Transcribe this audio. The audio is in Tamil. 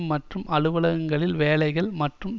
மற்றும் அலுவலகங்களில் வேலைகள் மற்றும்